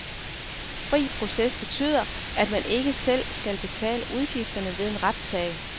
Fri proces betyder, at man ikke selv skal betale udgifterne ved en retssag.